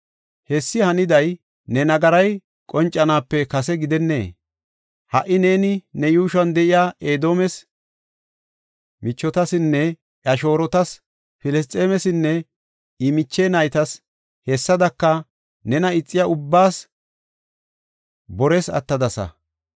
Hessi haniday ne nagaray qoncanaape kase gidennee? Ha77i neeni ne yuushuwan de7iya Edoomes michetisnne I shoorotas, Filisxeemesinne I miche naytas; hessadaka nena ixiya ubbaas bores attadasa.